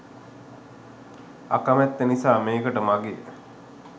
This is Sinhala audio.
අකමැත්ත නිසා මේකට මගේ